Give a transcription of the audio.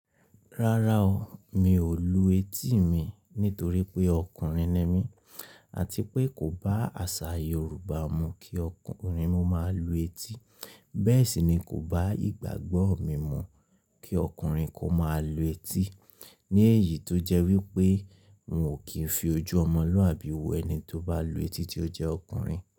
Rárá o, mi ò lu etí mi nítorí pé ọkùnrin ni mí àti pé kò bá àsà Yoruba mu kí ọkùnrin mu máa lu etí. Bẹ́ẹ̀ sì ni kò bá ìgbàgbọ́ mi mu kí ọkùnrin kó máa lu etí. Ní èyí tó jẹ́ wípé n ò kí ń fi ojú ọmọ lọ àbí owó ẹni tó bá lu etí tí ó jẹ́ ọkùnrin.